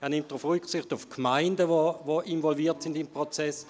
Er nimmt auf die im Prozess involvierten Gemeinden Rücksicht;